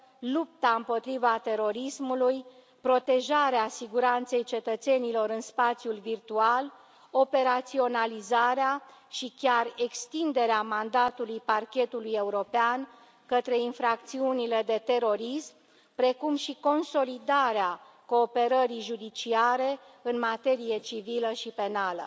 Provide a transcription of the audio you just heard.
lupta împotriva terorismului, protejarea siguranței cetățenilor în spațiul virtual, operaționalizarea și chiar extinderea mandatului Parchetului European către infracțiunile de terorism, precum și consolidarea cooperării judiciare în materie civilă și penală.